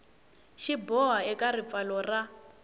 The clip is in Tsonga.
xi boha eka ripfalo ra